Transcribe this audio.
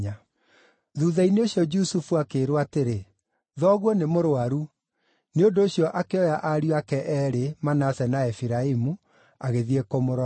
Thuutha-inĩ ũcio Jusufu akĩĩrwo atĩrĩ, “Thoguo nĩ mũrũaru.” Nĩ ũndũ ũcio akĩoya ariũ ake eerĩ, Manase na Efiraimu, agĩthiĩ kũmũrora.